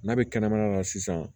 N'a bɛ kɛnɛmana na sisan